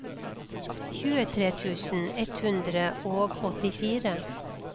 tjuetre tusen ett hundre og åttifire